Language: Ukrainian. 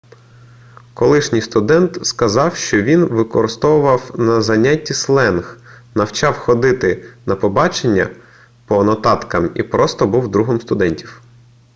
колишній студент сказав що він використовував на заняттях сленг навчав ходити на побачення по нотаткам і просто був другом студентів